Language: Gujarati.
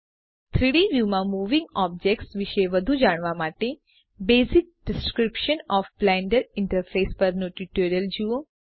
3ડી વ્યુમાં મુવિંગ ઑબ્જેક્ટ્સ વિશે વધુ જાણવા માટેBasic ડિસ્ક્રિપ્શન ઓએફ બ્લેન્ડર ઇન્ટરફેસ પરનું ટ્યુટોરીયલ જુઓ